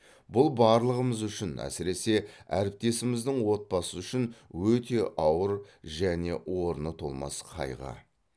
бұл барлығымыз үшін әсіресе әріптесіміздің отбасы үшін өте ауыр және орны толмас қайғы